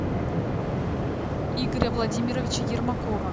игоря владимировича ермакова